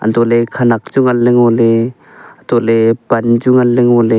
untohley khenak chu nganley ngoley untohley pan chu nganley ngoley.